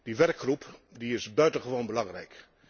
Die werkgroep is buitengewoon belangrijk.